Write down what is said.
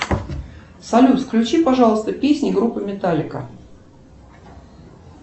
салют включи пожалуйста песни группы металлика